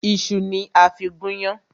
Ìṣu ni a fí gún yán.